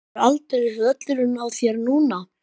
Það er aldeilis völlurinn á þér núna!